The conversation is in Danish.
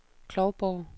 Klovborg